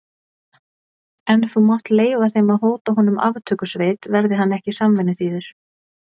En þú mátt leyfa þeim að hóta honum aftökusveit, verði hann ekki samvinnuþýður.